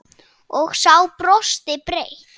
Og sá brosti breitt.